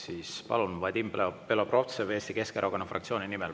Siis palun, Vadim Belobrovtsev Eesti Keskerakonna fraktsiooni nimel.